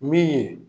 Min ye